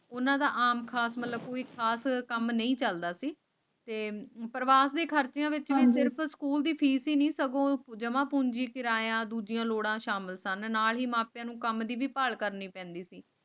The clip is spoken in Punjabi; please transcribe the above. ਉਨ੍ਹਾਂ ਦਾ ਆਮ ਖਾਸ ਮਜਬੂਰੀ ਕਾਰਨ ਕੰਮ ਨਹੀਂ ਚਲਦਾ ਸੀ ਪ੍ਰਵਾਸੀ ਭਾਰਤੀਆਂ ਵਿਚ ਮੰਦਿਰ ਸਕੂਲ ਦੀ ਫੀਸ ਜਮਾਂ ਪੂੰਜੀ ਕਿਰਾਇਆ ਦੂਜੀਆਂ ਲੋੜਾਂ ਸ਼ਾਮਲ ਸਨ ਨਾਲ ਹੀ ਮਾਪਿਆਂ ਨੂੰ ਕੰਮ ਦੀ ਭਾਲ ਕਰਨੀ ਪੈਂਦੀ ਸੀ